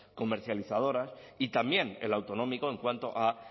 comercializadoras y también el autonómico en cuanto a